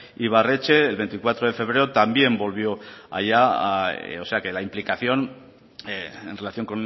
ibarretxe el veinticuatro de febrero también volvió a allá o sea que la implicación en relación